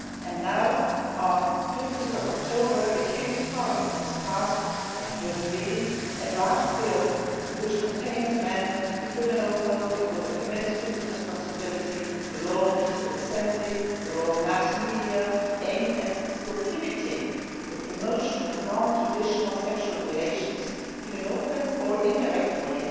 And now on 15 October, the Kyrgyz Parliament has passed, at first reading, a draft bill which contains amendments to the criminal code, the code of administrative responsibility, the law on peaceful assembly and the law on mass media, aimed at prohibiting the promotion of non traditional sexual relations in an open or indirect way